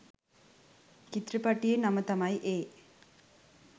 චිත්‍රපටියේ නම තමයි ඒ